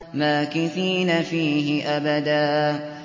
مَّاكِثِينَ فِيهِ أَبَدًا